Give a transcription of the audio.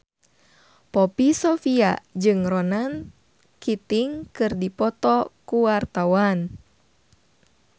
Poppy Sovia jeung Ronan Keating keur dipoto ku wartawan